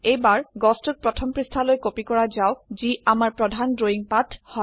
এইবাৰ গছটিক প্ৰথম পৃষ্ঠালৈ কপি কৰা যাওক যি আমাৰ প্ৰধান ড্ৰৱিঙ পাত হয়